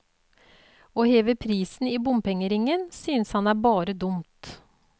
Å heve prisen i bompengeringen synes han er bare dumt.